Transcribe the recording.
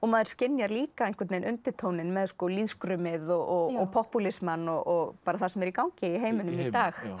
maður skynjar líka einhvern veginn undirtóninn með sko lýðskrumið og popúlismann og bara það sem er í gangi í heiminum í dag